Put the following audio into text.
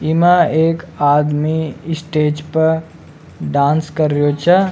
इ मा एक आदमी स्टेज पर डांस कर रियो छ।